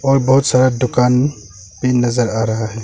और बहुत सारा दुकान भी नजर आ रहा है।